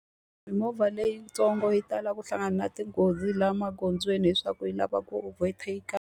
Mimovha leyitsongo yi tala ku hlangana na tinghozi laha magondzweni leswaku yi lava ku overtake-a.